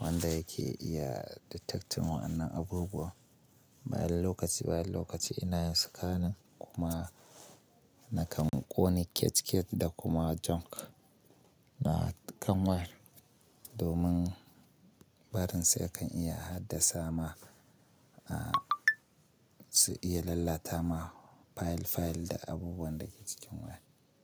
wanda yake iya detecting wannan abubuwa. Ina da lokaci ina da lokaci, ina scanning kuma na kan ƙone cache cache da kuma junk na kan wire domin barin sa ya kan iya hadasa ma, a su iya lalata ma file file da abubuwan da ke cikin waya.